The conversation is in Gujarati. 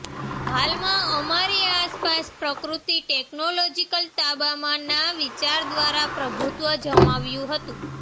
હાલમાં અમારી આસપાસ પ્રકૃતિ ટેકનોલોજીકલ તાબામાં ના વિચાર દ્વારા પ્રભુત્વ જમાવ્યું હતું